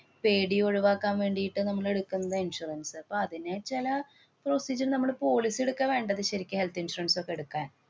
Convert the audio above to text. പേടി ഒഴിവാക്കാന്‍ വേണ്ടീട്ട് നമ്മള് എടുക്കുന്നതാ insurance അപ്പ അതിനുച്ചാല് നമ്മള് policy എടുക്കാ വേണ്ടത് ശരിക്കും health insurance ഒക്കെ എടുക്കാന്‍.